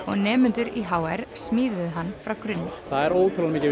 og nemendur í h r smíðuðu hann frá grunni það er ótrúlega